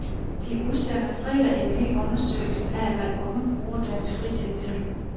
De udsender fredag en ny undersøgelse af hvad unge bruger deres fritid til.